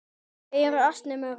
Þau eru ansi mörg.